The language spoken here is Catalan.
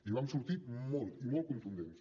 i vam sortit molt i molt contundents